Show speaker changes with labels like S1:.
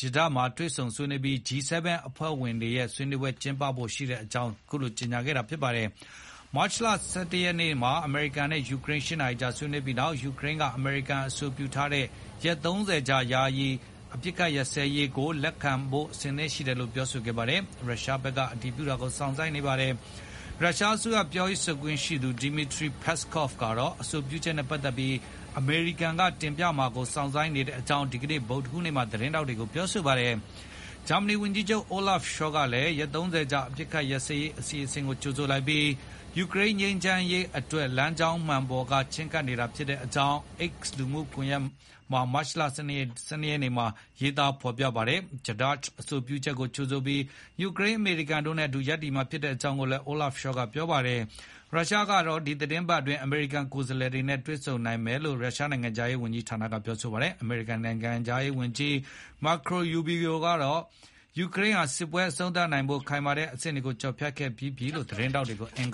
S1: Jeddah မှာ တွေ့ဆုံဆွေးနွေး အပြီး G7 အဖွဲ့က ဆွေးနွေးပွဲကျင်း ပဖို့ရှိကြောင်းကြေညာခဲ့တာပါ။ မတ်လ (၁၁) ရက်နေ့မှာ အမေရိကန်နဲ့ယူကရိန်း (၈) နာရီကြာဆွေးနွေးပြီးနောက် ယူကရိန်းက အမေရိကန်အဆိုပြုထားတဲ့ ရက် (၃၀) ကြာ ယာယီ ချက်ချင်းအပစ်အခတ်ရပ်စဲရေးကို လက်ခံဖို့အဆင်သင့်ရှိတယ်လို့ ပြောပါတယ်။ ရုရှားဘက်က အတည်ပြုတာကို စောင့်ဆိုင်းနေပါတယ်။ ရုရှားအစိုးရပြောရေးဆိုခွင့်ရှိသူ Dmitry Peskov ကတော့ အဆိုပြုချက်နဲ့ပတ်သက်ပြီး အမေရိကန်က တင်ပြမှာကို စောင့်ဆိုင်းနေကြောင်း ဒီကနေ့ ဗုဒ္ဓဟူးနေ့မှာ သတင်းထောက်တွေကို ပြောဆိုခဲ့ပါတယ်။ ဂျာမဏီဝန်ကြီးချုပ် Olaf Scholz ကလည်း ရက် (၃၀) ကြာ အပစ်အခတ်ရပ်စဲရေးအစီအစဉ်ကို ကြိုဆိုလိုက်ပြီး ယူကရိန်း ငြိမ်းချမ်းရေးအတွက် လမ်းကြောင်းမှန်ပေါ်က ချဉ်းကပ်နေတာဖြစ်ကြောင်း X မှာ မတ်လ (၁၂) ရက်နေ့ ဒီကနေ့မှာ ရေးသားပါတယ်။ Jeddah က အဆိုပြုချက်ကို ကြိုဆိုပြီး ယူကရိန်း၊ အမေရိကန်တို့နဲ့အတူ ရပ်တည်မှာဖြစ်တယ်လို့လည်း Scholz က ပြောပါတယ်။ ရုရှားကတော့ ဒီသီတင်းပတ်အတွင်း အမေရိကန်ကိုယ်စားလှယ်တွေနဲ့ တွေ့ဆုံနိုင်တယ်လို့ ရုရှား နိုင်ငံခြားရေးဝန်ကြီး ဌာနက ပြောပါတယ်။ အမေရိကန်နိုင်ငံခြားရေးဝန်ကြီး Marco Rubio က ယူကရိန်းဟာ စစ်ပွဲအဆုံးသတ်ဖို့ ခိုင်မာတဲ့အဆင့်တွေကိုကျော်ဖြတ်ခဲ့ပြီးပြီလို့ သတင်းထောက်တွေကို အင်္